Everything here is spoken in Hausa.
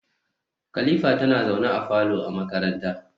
kalifa tana zaune a falo a makaranta